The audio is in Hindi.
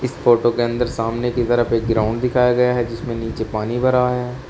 फोटो के अंदर सामने की तरफ एक ग्राउंड दिखाया गया है जिसमें नीचे पानी भरा है।